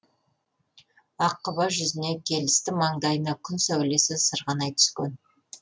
аққұба жүзіне келісті маңдайына күн сәулесі сырғанай түскен